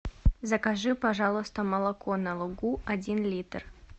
закажи пожалуйста молоко на лугу один литр